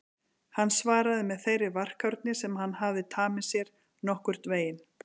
Hann svaraði með þeirri varkárni sem hann hafði tamið sér: Nokkurn veginn